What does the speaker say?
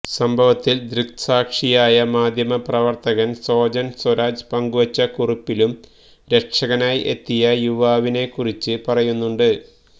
സംഭവത്തിൽ ദൃക്സാക്ഷിയായ മാധ്യമപ്രവർത്തകൻ സോജൻ സ്വരാജ് പങ്കുവെച്ച കുറിപ്പിലും രക്ഷകനായി എത്തിയ യുവാവിനെ കുറിച്ച് പറയുന്നുണ്ട്